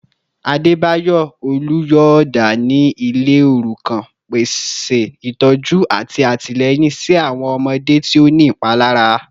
Adebayor oluyọọda ni ile orukan, pese itọju ati atilẹyin si awọn ọmọde ti o ni ipalara